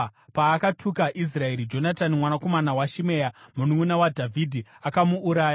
Paakatuka Israeri, Jonatani mwanakomana waShimea, mununʼuna waDhavhidhi akamuuraya.